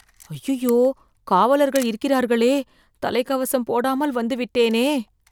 அய்யய்யோ காவலர்கள் இருக்கிறார்களே தலைக்கவசம் போடாமல் வந்து விட்டேனே